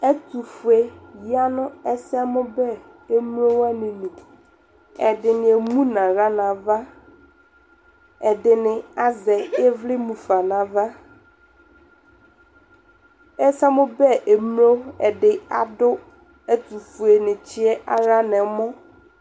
ɛtʋƒʋɛ yanʋ ɛsɛ mʋ bɛ, ɛmlɔ wani ɛdini ɛmʋnʋ ala nʋ aɣa, ɛdini azɛ ivli mʋƒa nʋ aɣa, ɛsɛmʋ bɛ ɛmlɔ di adʋ ɛtʋƒʋɛ ni tsiɛ ala nʋ ɛmɔ